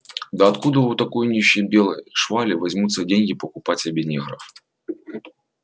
да откуда у такой нищей белой швали возьмутся деньги покупать себе негров